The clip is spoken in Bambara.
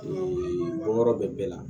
bɔ yɔrɔ bɛɛ la